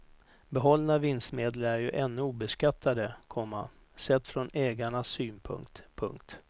Behållna vinstmedel är ju ännu obeskattade, komma sett från ägarnas synpunkt. punkt